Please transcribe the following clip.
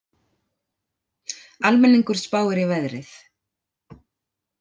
Almenningur spáir í veðrið